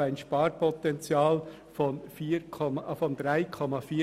ein Sparpotenzial von 3,4 Mio. Franken.